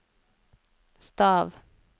stav